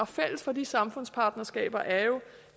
fælles for de samfundspartnerskaber er jo